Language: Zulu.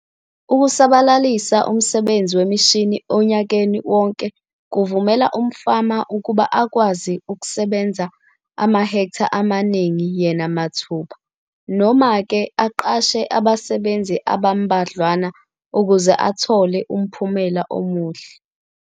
Ukusabalalisa umsebenzi wemishini onyakeni wonke kuvumela umfama ukuba akwazi ukusebenza amahektha amaningi yena mathupha, noma-ke aqashe abasebenzi abambadlwana ukuze athole umphumela omuhle.